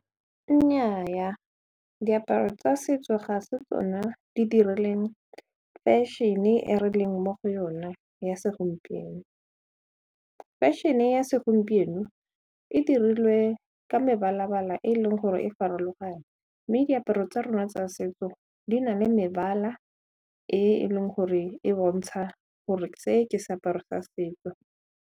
Nnyaa diaparo tsa setso ga se tsona di dirileng fashion-e re leng mo go yona ya segompieno. Fashion-e ya segompieno e dirilwe ka mebalabala e leng gore e farologane mme diaparo tsa rona tsa setso di na le mebala e leng gore e bontsha gore se ke seaparo sa setso.